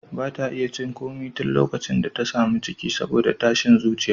Ba ta iya cin komai tun likacin da ta sami ciki saboda tashin zuciya.